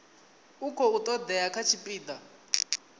a khou todea kha tshipida